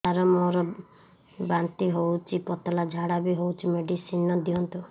ସାର ମୋର ବାନ୍ତି ହଉଚି ପତଲା ଝାଡା ବି ହଉଚି ମେଡିସିନ ଦିଅନ୍ତୁ